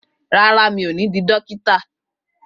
Rárá, mi ò ní di dókítà